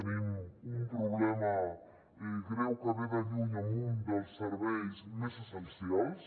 tenim un problema greu que ve de lluny en un dels serveis més essencials